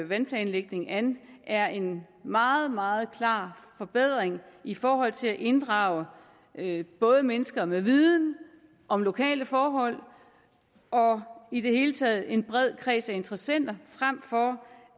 vandplanlægningen an er en meget meget klar forbedring i forhold til at inddrage både mennesker med viden om lokale forhold og i det hele taget en bred kreds af interessenter frem for